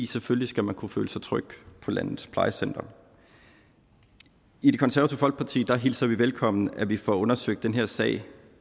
selvfølgelig skal man kunne føle sig tryg på landets plejecentre i det konservative folkeparti hilser vi velkommen at vi får undersøgt den her sag